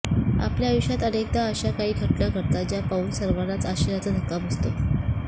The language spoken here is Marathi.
आपल्या आयुष्यात अनेकदा अशा काही घटना घडतात ज्या पाहून सर्वांनाच आश्चर्याचा धक्का बसतो